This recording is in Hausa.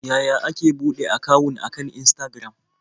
Yaya ake buɗe akawun akan Instagram?